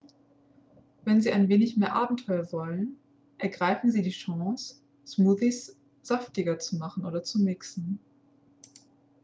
wenn sie ein wenig mehr abenteuer wollen ergreifen sie die chance smoothies saftiger zu machen oder zu mixen